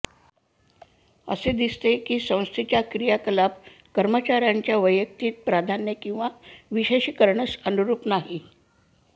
असे दिसते की संस्थेच्या क्रियाकलाप कर्मचार्याच्या वैयक्तिक प्राधान्ये किंवा विशेषीकरणस अनुरूप नाही